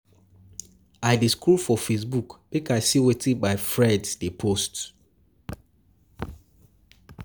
I dey scroll for Facebook make I see wetin my friends dey post.